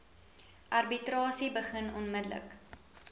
arbitrasie begin onmiddellik